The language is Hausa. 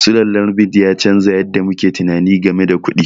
Sulallar bit ya canza yadda muke tunani game da kuɗi.